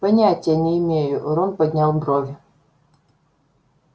понятия не имею рон поднял брови